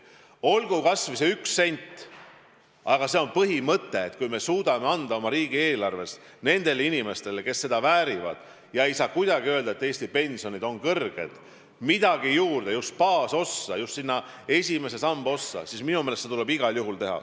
Olgu kas või üks sent, aga meil on põhimõte: kui me suudame anda oma riigieelarvest nendele inimestele, kes seda väärivad – ei saa kuidagi öelda, et Eesti pensionid on kõrged – midagi juurde, just baasossa, just sinna esimese samba ossa, siis seda tuleb igal juhul teha.